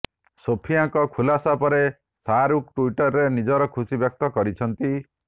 ସୋଫିଆଙ୍କ ଖୁଲାସା ପରେ ଶାହରୁଖ ଟ୍ୱିଟରରେ ନିଜର ଖୁସି ବ୍ୟକ୍ତ କରିଛନ୍ତି